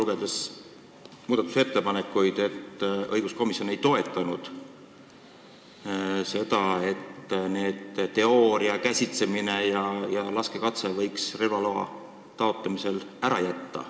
Ma saan muudatusettepanekuid lugedes aru, et õiguskomisjon ei toetanud seda, et teooriaeksam, relva käsitsemise ja laskekatse võiksid relvaloa taotlemisel ära jääda.